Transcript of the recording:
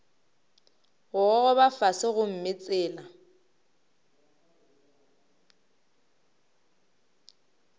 go gogoba fase gomme tsela